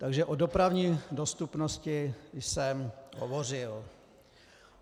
Takže o dopravní dostupnosti jsem hovořil.